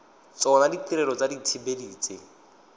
tsona ditirelo tsa dithibedi tse